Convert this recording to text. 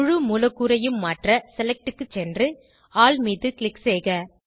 முழு மூலக்கூறையும் மாற்ற செலக்ட் க்கு சென்று ஆல் மீது க்ளிக் செய்க